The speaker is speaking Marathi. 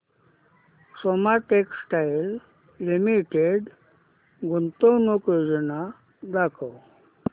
सोमा टेक्सटाइल लिमिटेड गुंतवणूक योजना दाखव